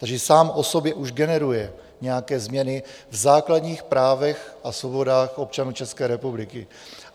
Takže sám o sobě už generuje nějaké změny v základních právech a svobodách občanů České republiky.